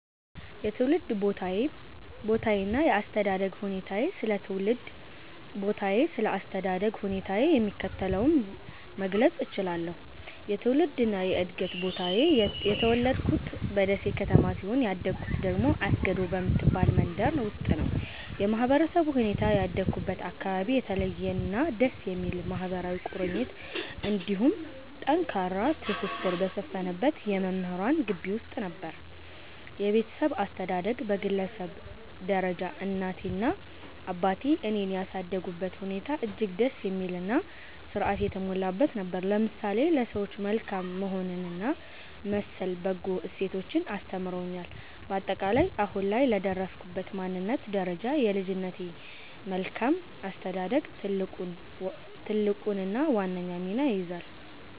የትውልድ ቦታዬና የአስተዳደግ ሁኔታዬ ስለ ትውልድ ቦታዬና ስለ አስተዳደግ ሁኔታዬ የሚከተለውን መግለጽ እችላለሁ፦ የትውልድና የዕድገት ቦታዬ፦ የተወለድኩት በደሴ ከተማ ሲሆን፣ ያደግኩት ደግሞ አስገዶ በምትባል መንደር ውስጥ ነው። የማህበረሰቡ ሁኔታ፦ ያደግኩበት አካባቢ የተለየና ደስ የሚል ማህበራዊ ቁርኝት እንዲሁም ጠንካራ ትስስር በሰፈነበት የመምህራን ግቢ ውስጥ ነበር። የቤተሰብ አስተዳደግ፦ በግለሰብ ደረጃ እናቴና አባቴ እኔን ያሳደጉበት ሁኔታ እጅግ ደስ የሚልና ሥርዓት የተሞላበት ነበር፤ ለምሳሌ ለሰዎች መልካም መሆንንና መሰል በጎ እሴቶችን አስተምረውኛል። ባጠቃላይ፦ አሁን ላይ ለደረስኩበት ማንነትና ደረጃ የልጅነቴ መልካም አስተዳደግ ትልቁንና ዋነኛውን ሚና ይይዛል።